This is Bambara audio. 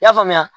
I y'a faamuya